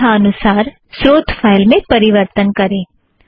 अपने ईच्छानुसार स्रोत फ़ाइल में परिवर्तन करें